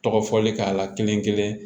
Tɔgɔ fɔli k'a la kelenkelen